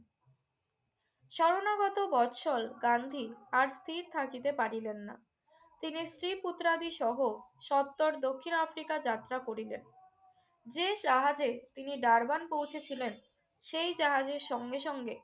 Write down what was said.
স্মরণাগত বৎসল গান্ধী আর স্থির থাকিতে পারিলেন না। তিনি স্ত্রী-পুত্রাদিসহ সত্বর দক্ষিণ আফ্রিকা যাত্রা করিলেন। যে জাহাজে তিনি ডারবান পৌঁছেছিলেন সেই জাহাজেই সঙ্গে সঙ্গে